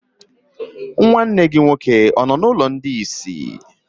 Nwanne gị nwoke ọ nọ n'ụlọ ndị isi?